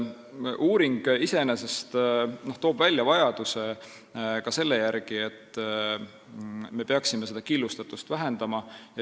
Uuring iseenesest toob välja ka selle vajaduse, et me peaksime killustatust vähendama.